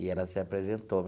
E ela se apresentou.